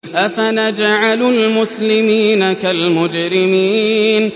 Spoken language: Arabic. أَفَنَجْعَلُ الْمُسْلِمِينَ كَالْمُجْرِمِينَ